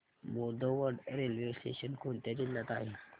Bodwad railway station कोणत्या जिल्ह्यात आहे